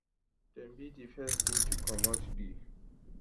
dem be di first team to comot di